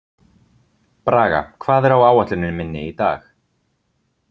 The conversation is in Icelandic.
Braga, hvað er á áætluninni minni í dag?